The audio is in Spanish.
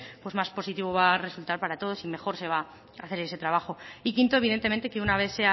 pues más positivo va a resultar para todos y mejor se va a hacer ese trabajo y quinto evidentemente que una vez